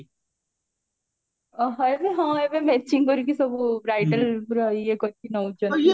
ଓହୋ ଏବେ ହଁ ଏବେ matching କରିକି ସବୁ bridal ପୁରା ଇଏ କରିକି ନାଉଚନ୍ତି